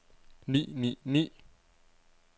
ni ni ni